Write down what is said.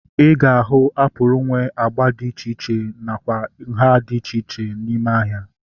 Ị ga-ahu apụl nwe agba dị iche iche nakwa nhá dị iche iche n'ime ahịa